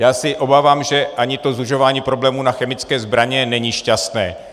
Já se obávám, že ani to zužování problému na chemické zbraně není šťastné.